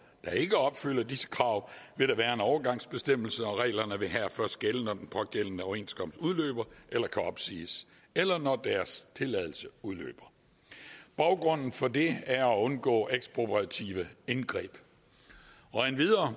der ikke opfylder disse krav vil der være en overgangsbestemmelse og reglerne vil her først gælde når den pågældende overenskomst udløber eller kan opsiges eller når deres tilladelse udløber baggrunden for det er at undgå ekspropriative indgreb endvidere